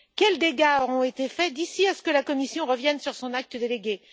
Quels dégâts auront été faits d'ici à ce que la Commission revienne sur son acte délégué?